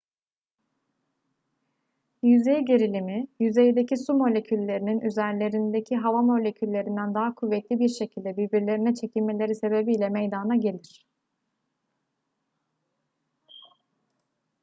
yüzey gerilimi yüzeydeki su moleküllerinin üzerlerindeki hava moleküllerinden daha kuvvetli bir şekilde birbirlerine çekilmeleri sebebiyle meydana gelir